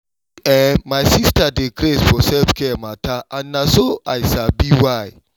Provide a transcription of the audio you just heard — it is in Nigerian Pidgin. see[um]my sister dey craze for self-care matter and na so i sabi why.